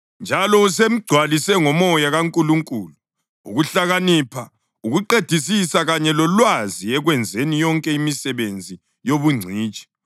njalo usemgcwalise ngoMoya kaNkulunkulu, ukuhlakanipha, ukuqedisisa kanye lolwazi ekwenzeni yonke imisebenzi yobungcitshi